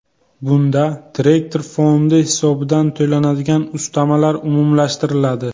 Bunda direktor fondi hisobidan to‘lanadigan ustamalar umumlashtiriladi.